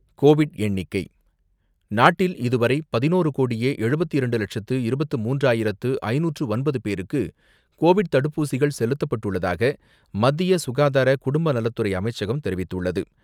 Covid எண்ணிக்கை நாட்டில் இதுவரை பதினோரு கோடியே எழுபத்தி இரண்டு லட்சத்து இருபத்தி மூன்றாயிரத்து ஐந்நூற்று ஒன்பது பேருக்கு கோவிட் தடுப்பூசிகள் செலுத்தப்பட்டுள்ளதாக, மத்திய சுகாதார குடும்பநலத்துறை அமைச்சகம் தெரிவித்துள்ளது.